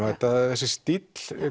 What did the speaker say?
þessi stíll